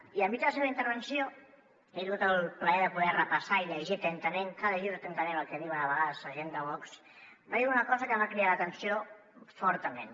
i enmig de la seva intervenció he tingut el plaer de poder ho repassar i llegir ho atentament cal llegir atentament el que diuen a vegades la gent de vox va dir una cosa que em va cridar l’atenció fortament